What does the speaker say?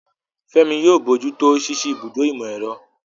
Fẹ́mi yóò bójú tó ṣíṣí ibùdó ìmọ̀-ẹ̀rọ.